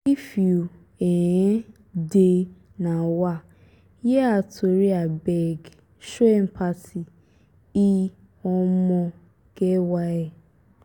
if you um dey um hear her tori abeg show empathy e um get why.